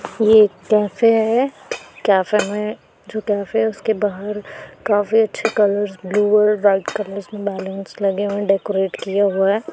ये एक कैफे हैं कैफे में जो कैफे हैं उसके बाहर काफी अच्छे कलर्स ब्लू और व्हाइट कलर्स के बलुन्स लगे हुए डेकोरेट किये हुए।